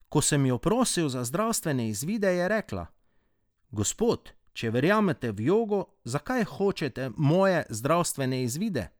Ko sem jo prosil za zdravstvene izvide, je rekla: 'Gospod, če verjamete v jogo, zakaj hočete moje zdravstvene izvide?